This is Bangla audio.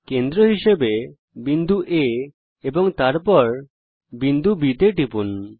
কেন্দ্র হিসাবে বিন্দু A এবং তারপর বিন্দু B টিপুন